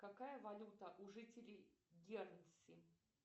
какая валюта у жителей герце